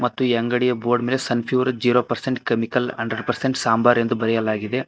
ಮತ್ತು ಈ ಅಂಗಡಿಯ ಬೋರ್ಡ್ ಮೇಲೆ Sunpure zero percent chemicals hundred percent sambar ಎಂದು ಬರೆಯಲಾಗಿದೆ.